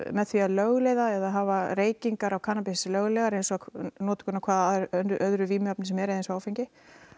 með því að lögleiða eða hafa reykingar á kannabis löglegar eins og notkun á hvaða öðru vímuefni sem er eins og áfengi